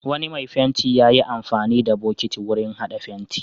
Wani mai fenti ya yi amfani da bokiti wurin haɗa fenti.